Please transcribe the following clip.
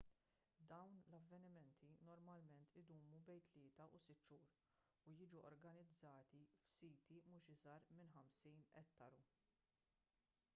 dawn l-avvenimenti normalment idumu bejn tlieta u sitt xhur u jiġu organizzati f'siti mhux iżgħar minn 50 ettaru